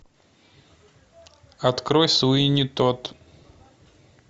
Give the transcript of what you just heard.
открой суини тодд